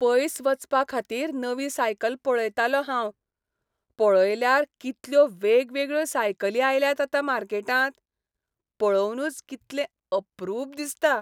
पयस वचपाखातीर नवी सायकल पळयतालों हांव. पळयल्यार कितल्यो वेगवेगळ्यो सायकली आयल्यात आतां मार्केटांत. पळोवनुच कितलें अप्रूप दिसता.